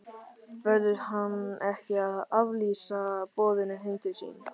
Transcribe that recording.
Verður hann ekki að aflýsa boðinu heim til sín?